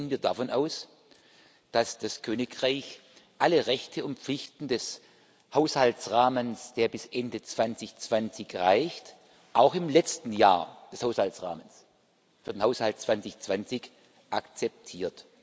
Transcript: Noch gehen wir davon aus, dass das Königreich alle Rechte und Pflichten des Haushaltsrahmens, der bis Ende 2020 reicht, auch im letzten Jahr des Haushaltsrahmens für den Haushalt 2020 akzeptiert.